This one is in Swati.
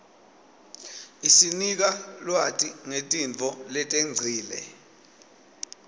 isinika lwati ngetintfo letengcile